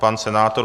Pan senátor?